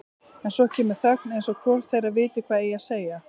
En svo kemur þögn eins og hvorugt þeirra viti hvað eigi að segja.